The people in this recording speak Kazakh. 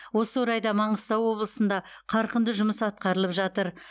осы орайда маңғыстау облысында қарқынды жұмыс атқарылып жатыр